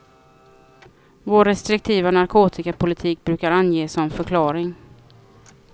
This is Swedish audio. Vår restriktiva narkotikapolitik brukar anges som förklaring.